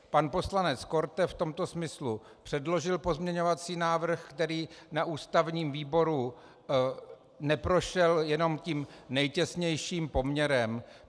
Pan poslanec Korte v tomto smyslu předložil pozměňovací návrh, který na ústavním výboru neprošel jenom tím nejtěsnějším poměrem.